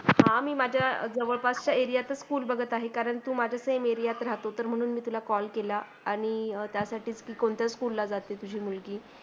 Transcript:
हा मी माजा जवडपासचा एरियतच School बघत आहे कारण तू माझ्य same area तच राहतो म्हणून मी तुला कॉल केला आणि त्यासाठी कोणतय school ला जाते तुजी मुलगी